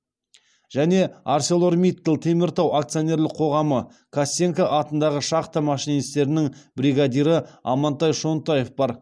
және арселормиттал теміртау акционерлік қоғамы костенко атындағы шахта машинистерінің бригадирі амантай шонтаев бар